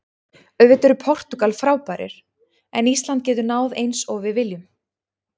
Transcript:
Auðvitað eru Portúgal frábærir en Ísland getur náð eins og við viljum.